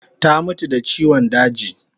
Ta mutu da chiwan daji